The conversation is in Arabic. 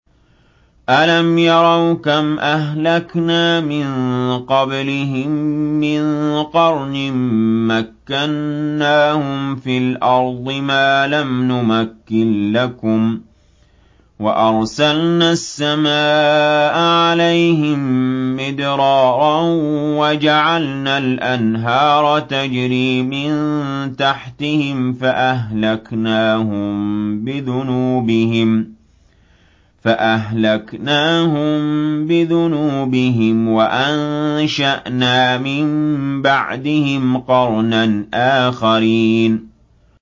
أَلَمْ يَرَوْا كَمْ أَهْلَكْنَا مِن قَبْلِهِم مِّن قَرْنٍ مَّكَّنَّاهُمْ فِي الْأَرْضِ مَا لَمْ نُمَكِّن لَّكُمْ وَأَرْسَلْنَا السَّمَاءَ عَلَيْهِم مِّدْرَارًا وَجَعَلْنَا الْأَنْهَارَ تَجْرِي مِن تَحْتِهِمْ فَأَهْلَكْنَاهُم بِذُنُوبِهِمْ وَأَنشَأْنَا مِن بَعْدِهِمْ قَرْنًا آخَرِينَ